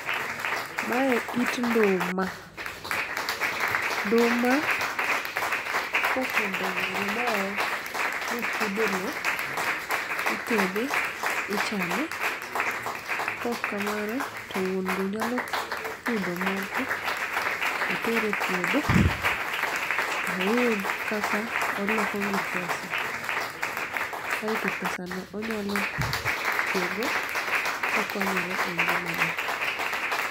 Mae it nduma, nduma kosedongo maber mopudhe lo, itede, ichame. Kokamano to wuon go nyalo pudho moko otere puodho, oyud kaka olokogi pesa. Kaeto pesa no onyalo tiyo go kokonyore e ngima ne.